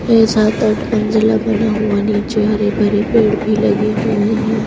ये सात आठ मंजिला बना हुआ नीचे हरे भरे पेड़ भी लगे हुए हैं।